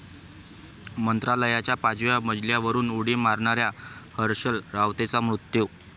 मंत्रालयाच्या पाचव्या मजल्यावरून उडी मारणाऱ्या हर्षल रावतेचा मृत्यू